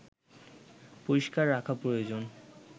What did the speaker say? পরিস্কার রাখা প্রয়োজন